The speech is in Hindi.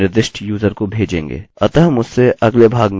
अतः मुझसे अगले भाग में मिलये अभी के लिए अलविदा